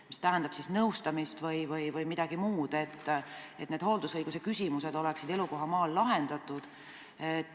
Kas see tähendab nõustamist või midagi muud, et hooldusõiguse küsimused saaksid elukohamaal lahendatud?